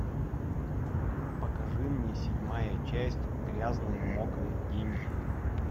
покажи мне седьмая часть грязные мокрые деньги